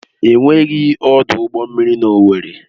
Enweghị ọdụ ụgbọ mmiri na Owerri.